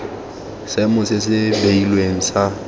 seemo se se beilweng sa